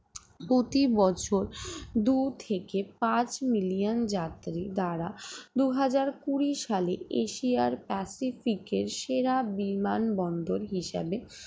প্রতিবছর দুই থেকে পাঁচ million যাত্রী দ্বারা দুই হাজার কুড়ি সালে এশিয়ার এর সেরা বিমানবন্দর হিসেবে